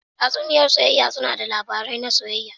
Tatsuniyoyi na soyayya suna ba da labarin soyayya.